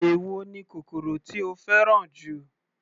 Èwo ni kòkòrò tí o fẹ́ràn jù.